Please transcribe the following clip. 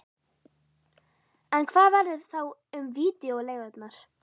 En hvað verður þá um vídeóleigurnar?